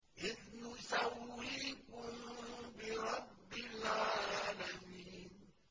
إِذْ نُسَوِّيكُم بِرَبِّ الْعَالَمِينَ